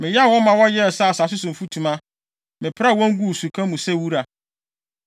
Meyam wɔn ma wɔyɛɛ sɛ asase so mfutuma; mepraa wɔn guu suka mu sɛ wura.